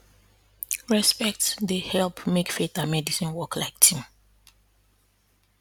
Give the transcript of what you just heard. respect dey help make faith and medicine work like team